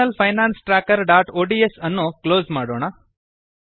personal finance trackerಒಡಿಎಸ್ ಅನ್ನು close ಮಾಡೋಣ